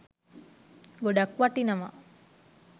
ගොඩාක් වටිනවා.